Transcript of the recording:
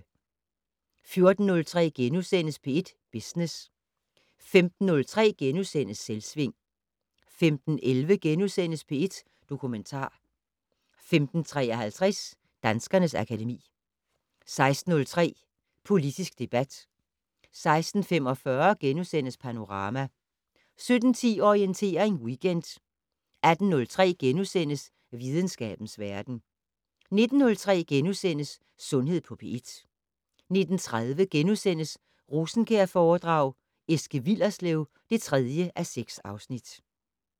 14:03: P1 Business * 15:03: Selvsving * 15:11: P1 Dokumentar * 15:53: Danskernes akademi 16:03: Politisk debat 16:45: Panorama * 17:10: Orientering Weekend 18:03: Videnskabens verden * 19:03: Sundhed på P1 * 19:30: Rosenkjærforedrag: Eske Willerslev (3:6)*